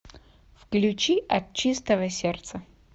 включи от чистого сердца